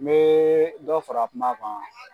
N me dɔ fara kuma kan.